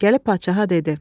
Gəlib padşaha dedi.